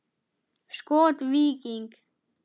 Skot: Víking.